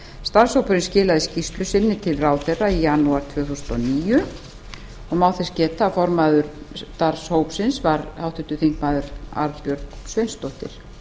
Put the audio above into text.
starfshópurinn skilaði skýrslu sinni til ráðherra í janúar tvö þúsund og níu og má þess geta að formaður starfshópsins var háttvirtir þingmenn arnbjörg sveinsdóttir